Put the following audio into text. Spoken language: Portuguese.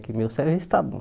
Que meu serviço está bom.